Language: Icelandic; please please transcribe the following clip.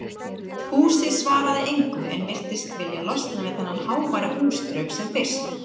Húsið svaraði engu en virtist vilja losna við þennan háværa húsdraug sem fyrst.